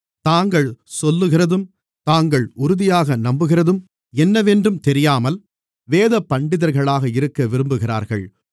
தாங்கள் சொல்லுகிறதும் தாங்கள் உறுதியாக நம்புகிறதும் என்னவென்றும் தெரியாமல் வேதபண்டிதர்களாக இருக்க விரும்புகிறார்கள்